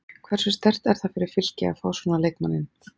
Hversu sterkt er það fyrir Fylki að fá svona leikmann inn?